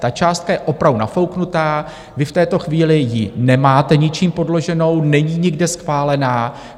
Ta částka je opravdu nafouknutá, vy v této chvíli ji nemáte ničím podloženou, není nikde schválená.